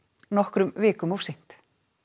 nokkrum vikum of seint